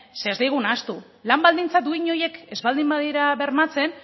zeren ez ahaztu lan baldintza duin horiek ez baldin badira bermatzen